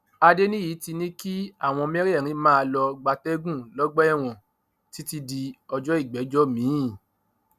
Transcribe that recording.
adéníyí ti ní kí àwọn mẹrẹẹrin máà lọọ gbatẹgùn lọgbà ẹwọn títí di ọjọ ìgbẹjọ miín